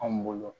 Anw bolo